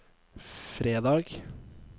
fredag